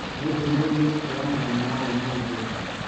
nĩ ndũmĩrĩri iriku ya mũthenya wa ũmũthĩ?